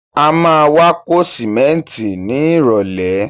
A má wá kó sìmẹ́ntì ni ìrọ̀lẹ́.